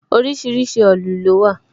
Orísìírísìí òòlù lówà